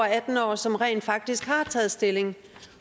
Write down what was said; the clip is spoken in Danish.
atten år som rent faktisk har taget stilling